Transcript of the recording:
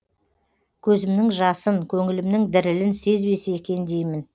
көзімнің жасын көңілімнің дірілін сезбесе екен деймін